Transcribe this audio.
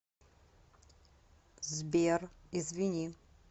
сбер извини